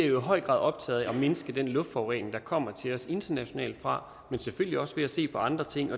jo i høj grad optaget af at mindske den luftforurening der kommer til os internationalt fra men selvfølgelig også af at se på andre ting